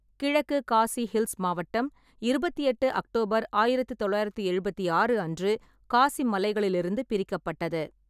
கிழக்கு காசி ஹில்ஸ் மாவட்டம் இருபத்தெட்டு அக்டோபர் ஆயிரத்து தொள்ளாயிரத்தி எழுபத்தி ஆறு அன்று காசி மலைகளிலிருந்து பிரிக்கப்பட்டது.